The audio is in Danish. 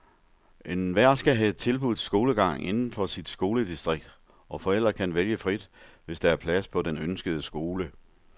Enhver skal have tilbudt skolegang inden for sit skoledistrikt, og forældre kan vælge frit, hvis der er plads på den ønskede skole.